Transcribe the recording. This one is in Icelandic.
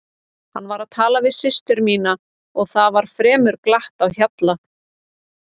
Hann var að tala við systur mínar og það var fremur glatt á hjalla.